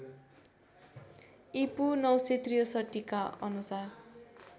ईपू ९६३ का अनुसार